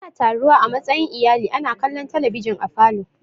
Ana taruwa a matsayin iyali ana kallon talabijin a falo.